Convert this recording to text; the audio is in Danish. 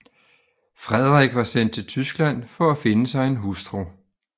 Frederik var sendt til Tyskland for at finde sig en hustru